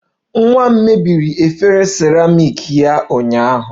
Nwa m mebiri efere seramiiki ya ụnyaahụ